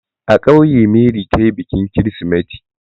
A ƙauye Mary ta yi bikin kirsimeti.